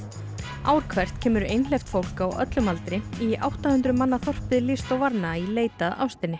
ár hvert kemur einhleypt fólk á öllum aldri í átta hundruð manna þorpið Lisdoovarna í leit að ástinni ekki